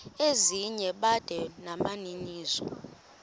ezinye bada nabaninizo